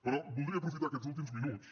però voldria aprofitar aquests últims minuts